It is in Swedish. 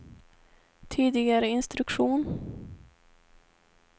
tidigare instruktion